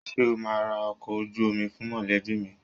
Ṣé o máa ra ọkọ̀ ojú omi fún mọ̀lẹ́bí mi?